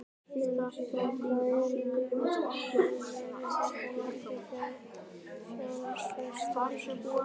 Elísabet: Hvað erum við að tala um, eru þetta margir fjárfestar?